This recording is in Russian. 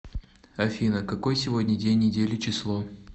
афина какой сегодня день недели число